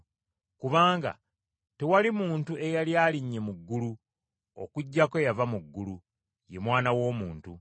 Kubanga tewali muntu eyali alinnye mu ggulu, okuggyako eyava mu ggulu, ye Mwana w’Omuntu.